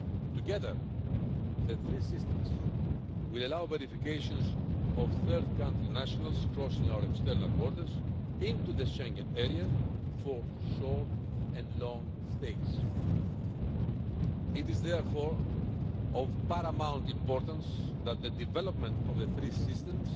Together, the three systems will allow verifications of third-country nationals crossing our external borders into the Schengen area for short and long stays. It is therefore of paramount importance that the development of the three systems